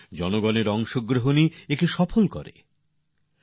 জনতার অংশগ্রহণেই একে সফল করতে হবে